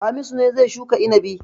Hamisu ne zai shuka inabi.